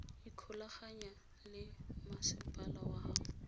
ikgolaganya le masepala wa gago